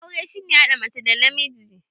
Aure shi ne hada mace da namiji.